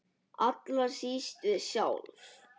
Allra síst við sjálf.